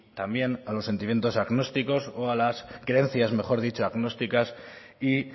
también a los sentimientos agnósticos o a las creencias mejor dicho agnósticas y